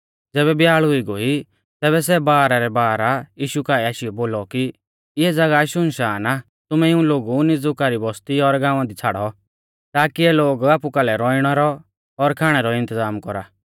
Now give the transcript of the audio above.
ज़ैबै ब्याल़ हुई गोइ तैबै सै बारह रै बारह यीशु काऐ आशीयौ बोलौ कि इऐ ज़ागाह शुनशान आ तुमै इऊं लोगु नीज़ुका रै बस्ती और गाँवा दी छ़ाड़ौ ताकी इऐ लोग आपु कालै रौइणै रौ और खाणै रौ इन्तज़ाम कौरा